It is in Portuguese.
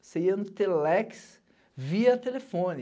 Você ia no telex via telefone.